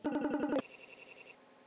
Patti, hvað er á áætluninni minni í dag?